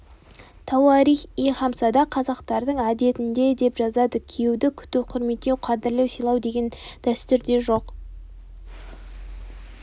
тауарих-и хамсада қазақтардың әдетінде деп жазады күйеуді күту құрметтеу қадірлеу сыйлау дәстүрде жоқ